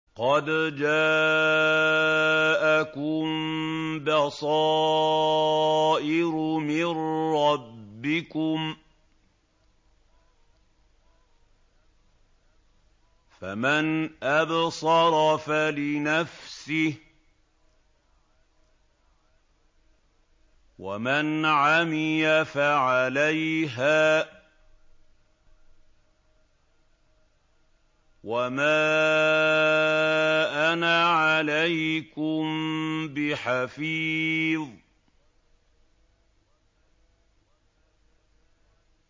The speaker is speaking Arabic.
قَدْ جَاءَكُم بَصَائِرُ مِن رَّبِّكُمْ ۖ فَمَنْ أَبْصَرَ فَلِنَفْسِهِ ۖ وَمَنْ عَمِيَ فَعَلَيْهَا ۚ وَمَا أَنَا عَلَيْكُم بِحَفِيظٍ